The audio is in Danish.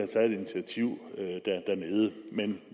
taget et initiativ dernede men